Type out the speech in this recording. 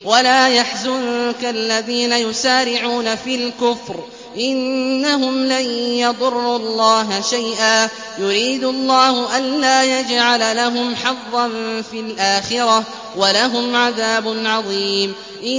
وَلَا يَحْزُنكَ الَّذِينَ يُسَارِعُونَ فِي الْكُفْرِ ۚ إِنَّهُمْ لَن يَضُرُّوا اللَّهَ شَيْئًا ۗ يُرِيدُ اللَّهُ أَلَّا يَجْعَلَ لَهُمْ حَظًّا فِي الْآخِرَةِ ۖ وَلَهُمْ عَذَابٌ عَظِيمٌ